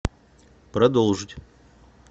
продолжить